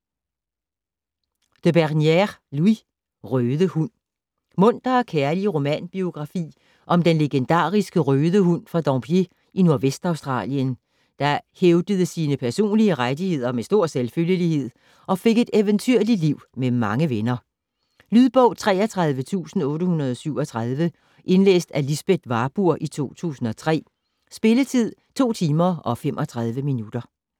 De Bernières, Louis: Røde Hund Munter og kærlig romanbiografi om den legendariske Røde Hund fra Dampier i Nordvestaustralien, der hævdede sine personlige rettigheder med stor selvfølgelighed, og fik et eventyrligt liv med mange venner. Lydbog 33837 Indlæst af Lisbeth Warburg, 2003. Spilletid: 2 timer, 35 minutter.